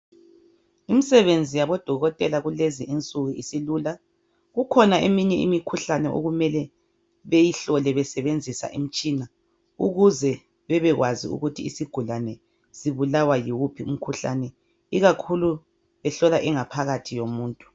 Imsebenzi yabodokotela kulezi insuku isilula, kukhona eminye imikhuhlane okumele beyihlole besebenzisa imitshina ukuze bebekwazi ukuthi isigulani sibulawa yiwuphi umkhuhlane ikakhulu behlola ingaphakathi yomuntu.